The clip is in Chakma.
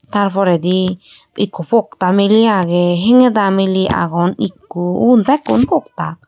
tar poredi ikko pokta miley agey hengeda miley agon ikko ubun bekkun pokta.